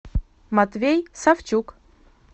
матвей савчук